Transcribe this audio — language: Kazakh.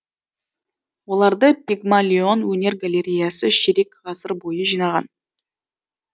оларды пигмалион өнер галереясы ширек ғасыр бойы жинаған